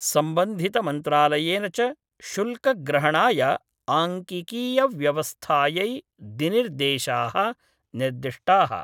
संबन्धितमन्त्रालयेन च शुल्कग्रहणाय आंकिकीयव्यवस्थायै दिनिर्देशाः निर्दिष्टाः।